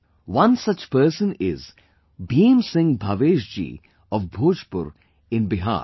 One such person is Bhim Singh Bhavesh ji of Bhojpur in Bihar